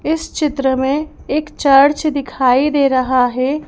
इस चित्र में एक चर्च दिखाई दे रहा है।